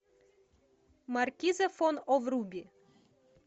маркиза фон о вруби